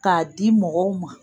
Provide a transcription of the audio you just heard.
K'a di mɔgɔw ma